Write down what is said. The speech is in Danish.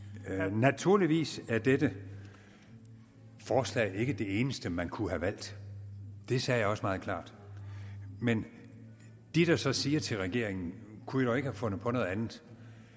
naturligvis er dette forslag ikke det eneste man kunne have valgt det sagde jeg også meget klart men de der så siger til regeringen kunne i dog ikke have fundet på noget andet